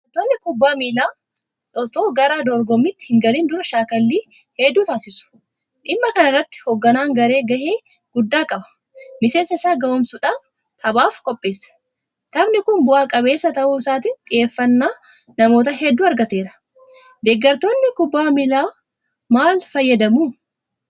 Taphattoonni kubbaa miilaa itoo gara dorgommiitti hingalin dura shaakallii hedduu taasisu. Dhimma kana irratti hoogganaan garee gahee guddaa qaba. Miseensa isaa gahoomsuudhaan taphaaf qopheessa. Taphni kun bu'a qabeessa ta'uu isaatiin xiyyeeffannaa namoota hedduu argateera. Deeggartoonni kubbaa miilaawoo maal fayyadamu?